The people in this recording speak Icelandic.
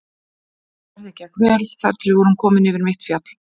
Ferðin gekk vel þar til við vorum komnir yfir mitt fjall.